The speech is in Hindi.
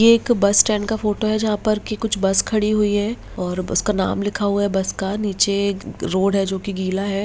ये एक बस स्टैंड का फोटो है जहाँ पर की कुछ बस खड़ी हुई है और बस का नाम लिखा हुआ है बस का नीचे एक रोड है जोकि गीला है।